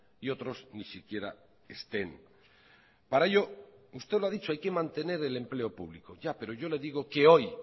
y otros ni siquiera estén para ello usted lo ha dicho hay que mantener el empleo público ya pero yo le digo que hoy